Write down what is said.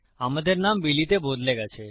আমাদের নাম বিলি তে বদলে গেছে